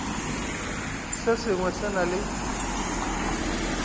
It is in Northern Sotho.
se sengwe se na le